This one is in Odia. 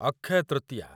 ଅକ୍ଷୟ ତୃତୀୟା